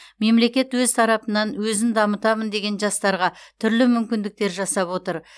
мемлекет өз тарапынан өзін дамытамын деген жастарға түрлі мүмкіндіктер жасап отыр